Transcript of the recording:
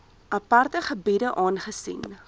aparte gebiede aangesien